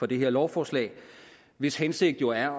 det her lovforslag hvis hensigt jo er